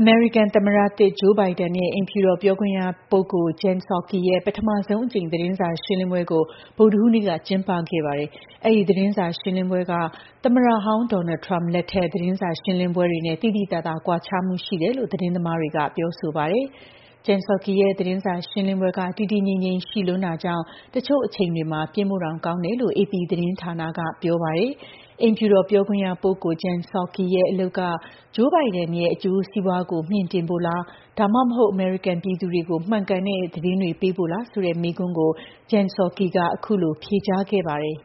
အမေရိကန်သမ္မတသစ် Joe Biden ရဲ့ အိမ်ဖြူတော် ပြောခွင့်ရပုဂ္ဂိုလ် Jen Psaki ရဲ့ ပထမဆုံးအကြိမ် သတင်းစာ ရှင်းလင်းပွဲကို ဗုဒ္ဓဟူးနေ့က ကျင်းပခဲ့ပါတယ်။ အဲဒီ သတင်းစာရှင်းလင်းပွဲက သမ္မတဟောင်း Donald Trump လက်ထက် သတင်းစာ ရှင်းလင်းပွဲတွေနဲ့ သိသိသာသာ ကွာခြားမှု ရှိတယ်လို့ သတင်းသမားတွေက ပြောဆိုပါတယ်။ Jen Psaki ရဲ့ သတင်းစာ ရှင်းလင်းပွဲက တည်တည်ငြိမ်ငြိမ်ရှိလွန်းတာကြောင့် တချို့အချိန်တွေမှာ ပျင်းဖို့တောင် ကောင်းတယ်လို့ AP သတင်းဌာနက ပြောပါတယ်။ အိမ်ဖြူတော်ပြောခွင်ရပုဂ္ဂိုလ် Jen Psaki ရဲ့ အလုပ်က Joe Bidenရဲ့ အကျိုးစီးပွားကို မြှင့်တင်ဖို့လား ဒါမှမဟုတ် အမေရိကန် ပြည်သူတွေကို မှန်ကန်တဲ့ သတင်းတွေ ပေးဖို့လားဆိုတဲ့ မေးခွန်းကို Jen Psaki က အခုလို ဖြေကြားခဲ့ ပါတယ်။ "